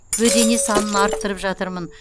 бөдене санын арттырып жатырмын